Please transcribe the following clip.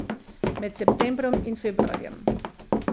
Med septembrom in februarjem.